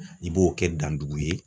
I b'o kɛ dandugu ye